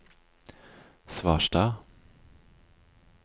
Svarstad